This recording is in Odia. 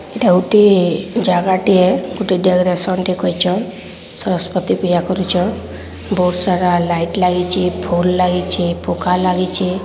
ଟା ଗୋଟିଏ ଜାଗା ଟିଏ ଗୋଟେ ଜାଗାରେ ଆସନ କରିଛନ ସଂସ୍ପତି ପିଲା କରିଛନ ବହୁତ ସାରା ଲାଇଟ ଲାଗିଛି ଫୁଲ ଲାଗିଚି ପଙ୍କା ଲାଗିଚି।